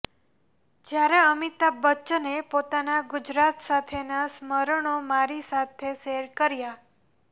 જ્યારે અમિતાભ બચ્ચને પોતાના ગુજરાત સાથેનાં સ્મરણો મારી સાથે શેર કર્યાં